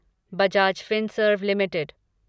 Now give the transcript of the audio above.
Bajaj Finserv limited